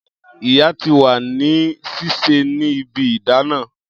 Iya ti wa ni sise ni ibi idana